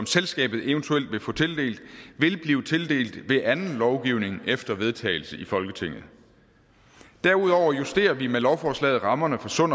selskabet eventuelt vil få tildelt vil blive tildelt ved anden lovgivning efter vedtagelse i folketinget derudover justerer vi med lovforslaget rammerne for sund